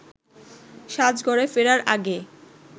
সাজঘরে ফেরার আগে